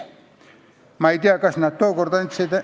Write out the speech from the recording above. Ma ei tea, kas nad tookord andsid ...